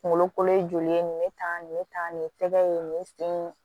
Kunkolo kolo ye joli ye nin be tan nin bɛ tan nin ye tɛgɛ ye nin sen